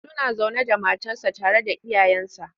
Suna zaune da matarsa tare da iyayensa.